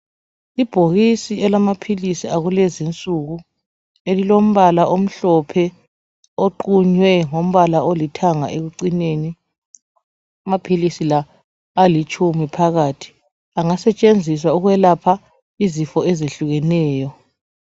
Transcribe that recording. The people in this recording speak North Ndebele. Ibhokisi elilamaphilisi akulezi nsuku elilombala omhlophe oqunywe ngombala olithanga ekucineni amaphilisi la alitshumi phakathi angasetshenziswa ukwelapha izifo ezehlukeneyo.